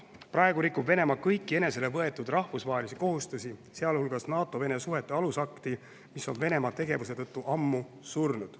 Praegu rikub Venemaa kõiki enesele võetud rahvusvahelisi kohustusi, sealhulgas NATO-Vene suhete alusakti, mis on Venemaa tegevuse tõttu ammu surnud.